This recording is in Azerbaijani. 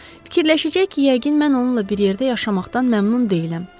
Fikirləşəcək ki, yəqin mən onunla bir yerdə yaşamaqdan məmnun deyiləm.